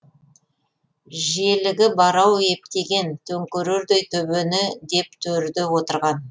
желігі бар ау ептеген төңкерердей төбені деп төрде отырған